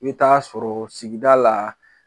I bɛ taga sɔrɔ sigida la